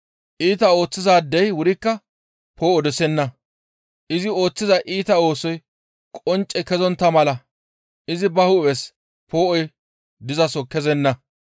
Iita ooththizaadey wurikka poo7o dosenna. Izi ooththiza iita oosoy qoncce kezontta mala izi ba hu7es poo7oy dizaso kezenna.